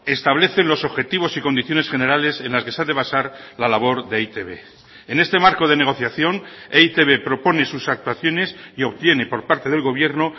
establecen los objetivos y condiciones generales en las que se ha de basar la labor de e i te be en este marco de negociación e i te be propone sus actuaciones y obtiene por parte del gobierno